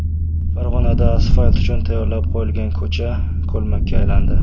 Farg‘onada asfalt uchun tayyorlab qo‘yilgan ko‘cha ko‘lmakka aylandi .